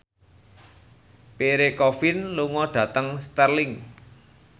Pierre Coffin lunga dhateng Stirling